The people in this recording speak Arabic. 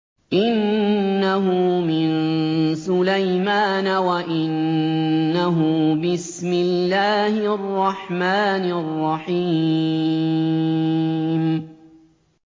إِنَّهُ مِن سُلَيْمَانَ وَإِنَّهُ بِسْمِ اللَّهِ الرَّحْمَٰنِ الرَّحِيمِ